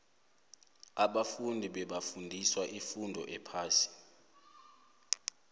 ababfundi bebafundiswa ifundo ephasi